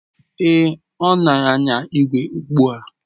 Èé, ọ na anya ígwè ugbu a.